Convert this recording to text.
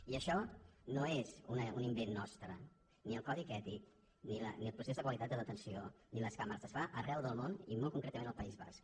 i això no és un in·vent nostre ni el codi ètic ni el procés de qualitat de detenció ni les càmeres es fa arreu del món i molt concretament al país basc